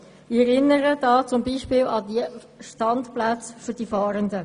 Ich erinnere zum Beispiel an die Standplätze für Fahrende.